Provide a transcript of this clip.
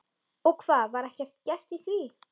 Og hvað, var ekkert gert í því?